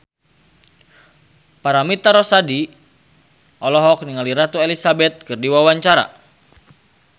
Paramitha Rusady olohok ningali Ratu Elizabeth keur diwawancara